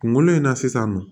Kunkolo in na sisan nɔ